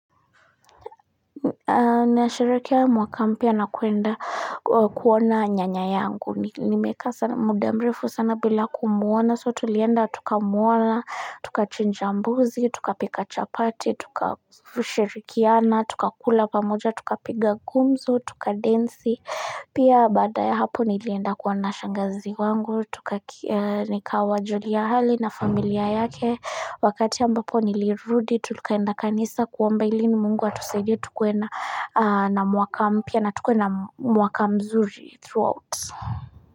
Nasherekea mwaka mpya na kwenda kuona nyanya yangu. Nimekaa sana muda mrefu sana bila kumwona so tulienda tukamwona, tukachinja mbuzi, tukapika chapati, tukashirikiana, tukakula pamoja, tukapiga gumzo, tukadensi. Pia baadae hapa nilienda kuona shangazi wangu, nikawajulia hali na familia yake, wakati ambapo nilirudi tukaenda kanisa kuomba ili mungu atusaidie tukuwe na mwaka mpya na tukuwe na mwaka mzuri throughout.